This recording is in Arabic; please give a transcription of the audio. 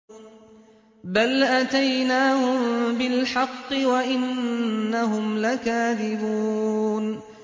بَلْ أَتَيْنَاهُم بِالْحَقِّ وَإِنَّهُمْ لَكَاذِبُونَ